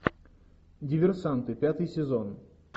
диверсанты пятый сезон